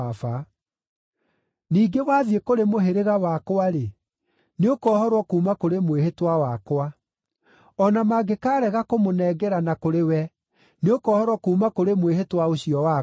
Ningĩ wathiĩ kũrĩ mũhĩrĩga wakwa-rĩ, nĩũkohorwo kuuma kũrĩ mwĩhĩtwa wakwa; o na mangĩkaarega kũmũnengerana kũrĩ we, nĩũkohorwo kuuma kũrĩ mwĩhĩtwa ũcio wakwa.’ ”